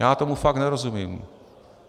Já tomu fakt nerozumím.